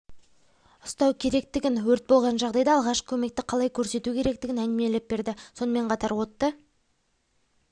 ұстау керектігін өрт болған жағдайда алғашқы көмекті қалай көрсету керектігін әңгімелеп берді сонымен қатар отты